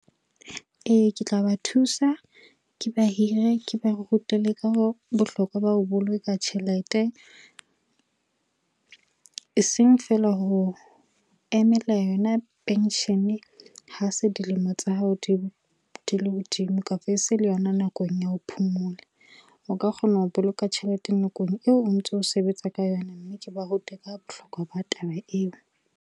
E, ke tla ba thusa, ke ba hire, ke ba rute le ka bohlokwa ba ho boloka tjhelete. E seng feela ho emela yona penshene ha se dilemo tsa hao di le hodimo, kapo e se le yona nakong ya ho phomola. O ka kgona ho boloka tjhelete nakong eo o ntso sebetsa ka yona mme ke ba rute ka bohlokwa ba taba eo.